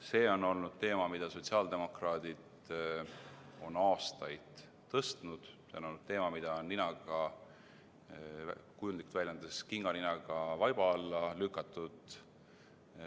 See on olnud teema, mida sotsiaaldemokraadid on aastaid tõstatanud, teema, mida on, kujundlikult väljendades, kinganinaga vaiba alla lükatud.